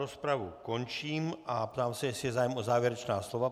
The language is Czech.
Rozpravu končím a ptám se, jestli je zájem o závěrečná slova.